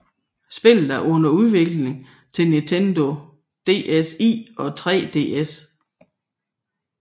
Spillet er under udvikling til Nintendo DSi og 3DS